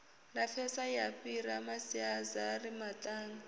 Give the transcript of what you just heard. lapfesa ya fhira masiazari maṱanu